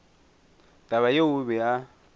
taba yeo o be a